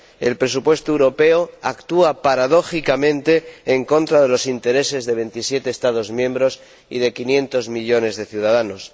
el presupuesto europeo actúa, paradójicamente, en contra de los intereses de 27 Estados miembros y de 500 millones de ciudadanos.